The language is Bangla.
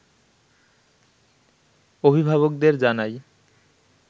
অভিভাবকদের জানায়